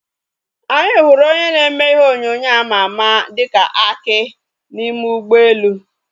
Anyị hụrụ onye na-eme ihe onyonyo àmà àmà dịka Aki n'ime ụgbọelu